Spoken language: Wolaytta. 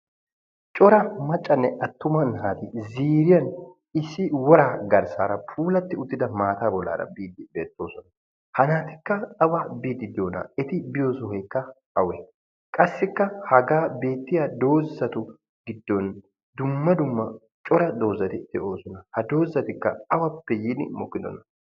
Cora maccanne attuma naati ziiriyan issi woraa garssaara puulatti uttida maataa bollaara biiddi beettoosona. Ha naatikka awa biiddi diyona, eti biyo sohoyikka awee, qassikka hagan beettiya doozzatu giddon dumma dumma cora doozzati de"oosona. Ha doozzatikka awappe yiidi mokkidonaa?